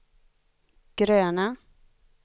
gröna